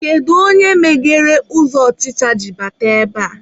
Kedu onye meghere ụzọ ọchịcha ji bata ebea?